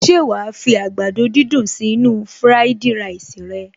Ṣé wàá fi àgbàdo dídùn sí inú-u fúráìdì ráìsì rẹ